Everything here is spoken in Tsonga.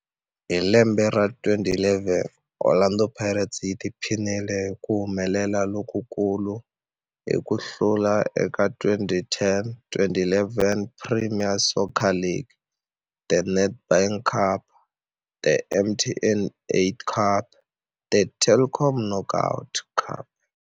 Hi lembe ra 2011, Orlando Pirates yi tiphinile hi ku humelela lokukulu hi ku hlula eka 2010-11 Premier Soccer League, The Nedbank Cup, The MTN 8 Cup na The Telkom Knockout.